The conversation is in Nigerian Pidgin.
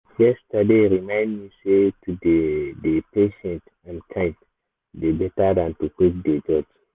yesterday remind me sey to dey-dey patient and kind dey better than to quick dey judge.